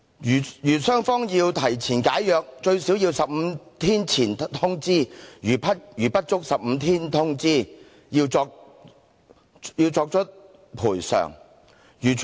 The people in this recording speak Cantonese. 如雙方要提前解約，最少要15天前通知，如不足15天通知，要作出賠償。